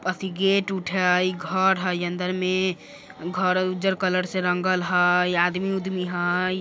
यति gate उठय घर हई अन्दर में घर उजर कलर से रंगल हई आदमी - उदमी हई।